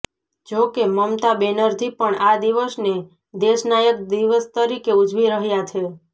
જો કે મમતા બેનર્જી પણ આ દિવસને દેશનાયક દિવસ તરીકે ઉજવી રહ્યા છે